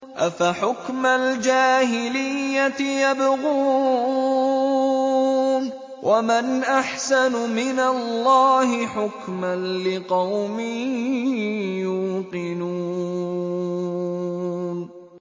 أَفَحُكْمَ الْجَاهِلِيَّةِ يَبْغُونَ ۚ وَمَنْ أَحْسَنُ مِنَ اللَّهِ حُكْمًا لِّقَوْمٍ يُوقِنُونَ